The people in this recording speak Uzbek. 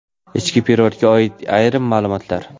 Ichki perevodga oid ayrim maʼlumotlar.